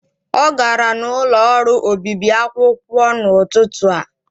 Ọ gara n'ụlọ ọrụ obibi akwụkwọ n'ụtụtụ a.